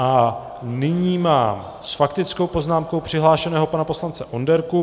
A nyní mám s faktickou poznámkou přihlášeného pana poslance Onderku.